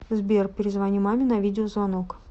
сбер перезвони маме на видеозвонок